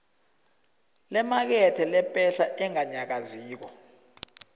lemakethe lepahla enganyakaziko